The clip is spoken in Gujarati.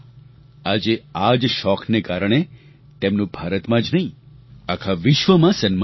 આજે આ જ શોખને કારણે તેમનું ભારતમાં જ નહીં આખા વિશ્વમાં સન્માન છે